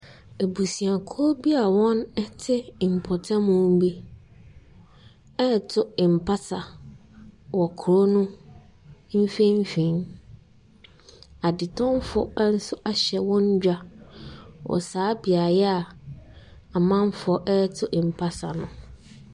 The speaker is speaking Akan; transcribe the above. Abusuakuo bi a wɔte mpɔtamu bi ɛreto mpasa wɔ kuro no mfimfin, adetɔnfo nso ahyɛ wɔn dwa wɔ saa beaeɛ a amamfoɔ ɛreto mpasa no.